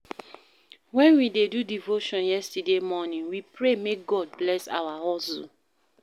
Wen we dey do devotion yesterday morning, we pray make God bless our hustle.